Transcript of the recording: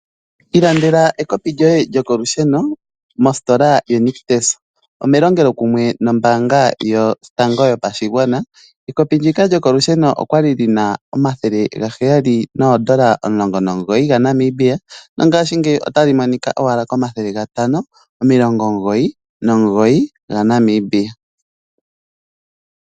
Ilandela ekopi lyoye lokolusheno mositola yoNictus . Ome longelo kumwe nombaanga yotango yopashigwana. Ekopi ndika lyokolusheno okwali lina omathela gaheyali noondola omulongo nomugoyi dhaNamibia. Ngaashi ngeyi otali monikwa owala komathele gatano omilongo omugoyi nomugoyi dhaNamibia.